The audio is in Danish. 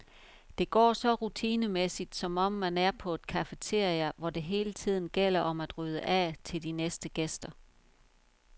Det går så rutinemæssigt, som om man er på et cafeteria, hvor det hele tiden gælder om at rydde af til de næste gæster.